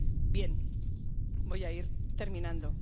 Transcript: Bien, voy a ir terminando.